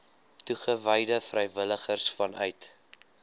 toegewyde vrywilligers vanuit